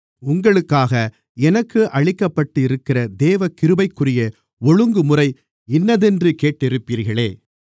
உங்களுக்காக எனக்கு அளிக்கப்பட்டிருக்கிற தேவகிருபைக்குரிய ஒழுங்குமுறை இன்னதென்று கேட்டிருப்பீர்களே